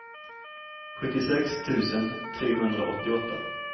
sjuttiosex tusen trehundraåttioåtta